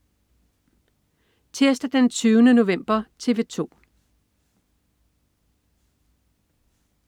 Tirsdag den 20. november - TV 2: